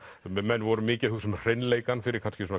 menn voru mikið að hugsa um hreinleikann fyrir kannski